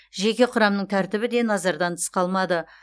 жеке құрамның тәртібі де назардан тыс қалмады